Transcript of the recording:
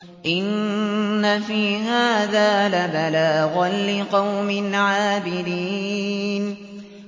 إِنَّ فِي هَٰذَا لَبَلَاغًا لِّقَوْمٍ عَابِدِينَ